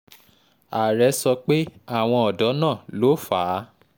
um ààrẹ sọ pé àwọn ọ̀dọ́ náà ló fà um á